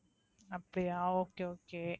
அப்படியா Okay okay